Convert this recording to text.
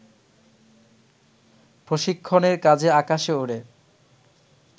প্রশিক্ষণের কাজে আকাশে ওড়ে